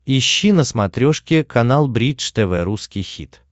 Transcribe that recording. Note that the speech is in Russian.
ищи на смотрешке канал бридж тв русский хит